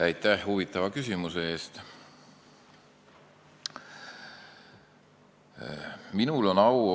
Aitäh huvitava küsimuse eest!